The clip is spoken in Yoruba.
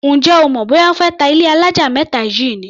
Ǹjẹ́ o mọ̀ bóyá wọ́n fé ta ilé alájà mẹ́ta yìí ni?